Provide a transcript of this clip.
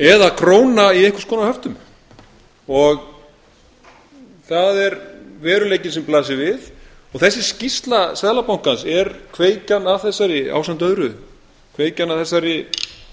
eða króna í einhvers konar höftum það er veruleikinn sem blasir við þessi skýrsla seðlabankans er kveikjan að þessari ásamt öðru kveikjan að þessari